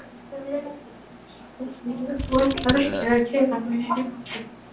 Ég tek bara leigubíl úr því að þú ætlar ekki að keyra mig heim aftur.